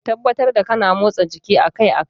Tabbatar kana motsa jiki akai-akai.